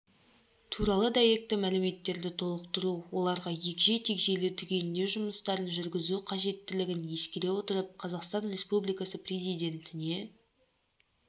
туралы дәйекті мәліметтерді толықтыру оларға егжей-тегжейлі түгендеу жұмыстарын жүргізу қажеттілігін ескере отырып қазақстан республикасы президентіне